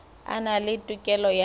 a na le tokelo ya